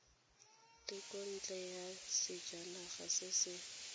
thekontle ya sejanaga se se